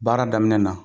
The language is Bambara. Baara daminɛ na